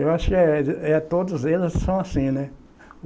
Eu acho eh de, é todos eles são assim, né?